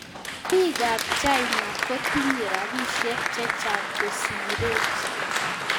Piik ap China kotinye rapisiek chechang kosirech